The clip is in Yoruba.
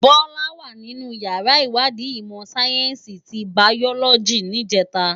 Bola wá ninú iyàrá iwàdí imò sáyènsí ti báyòlòjí nijètá